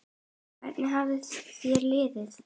Hvernig hefur þér liðið?